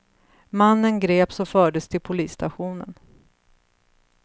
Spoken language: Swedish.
Mannen greps och fördes till polisstationen.